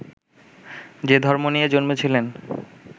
যে ধর্ম নিয়ে জন্মেছিলেন